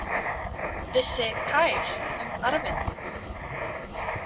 Vissi Kyle um arfinn?